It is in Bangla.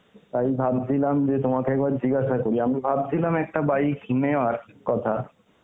তাই ভাবছিলাম যে তোমাকে একবার জিজ্ঞাসা করি, আমি ভাবছিলাম একটা bike নেওয়ার কথা.